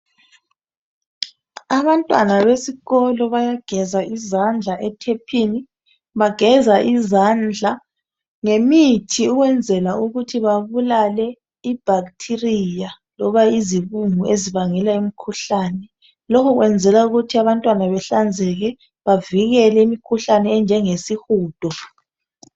Abantwana besikolo bayageza izandla ethephini. Bageza izandla ngemithi ukwenzela ukuthi babulale ibacteria loba izibungu ezibangela imkhuhlane. Lokhu kwenzelwa ukuthi abantwana behlanzeke bavikele imkhuhlane enjengesihudo.